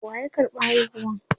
waya karɓa haihuwan?